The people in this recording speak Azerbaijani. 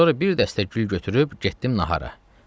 Sonra bir dəstə gül götürüb getdim nahara.